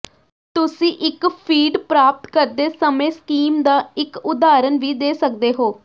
ਤੁਸੀਂ ਇੱਕ ਫੀਡ ਪ੍ਰਾਪਤ ਕਰਦੇ ਸਮੇਂ ਸਕੀਮ ਦਾ ਇੱਕ ਉਦਾਹਰਣ ਵੀ ਦੇ ਸਕਦੇ ਹੋ